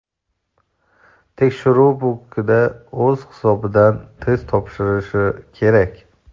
tekshiruv punktida o‘z hisobidan test topshirilishi kerak.